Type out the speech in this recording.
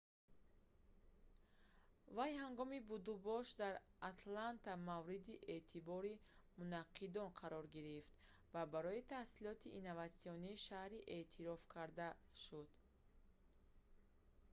вай ҳангоми будубошаш дар атланта мавриди эътибори мунаққидон қарор гирифт ва барои таҳсилоти инноватсионии шаҳрӣ эътироф карда шуд